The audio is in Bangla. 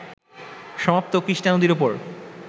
সমাপ্ত কৃষ্ণা নদীর উপর